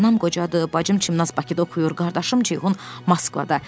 Anam qocadır, bacım Çimnaz Bakıda oxuyur, qardaşım Ceyhun Moskvada.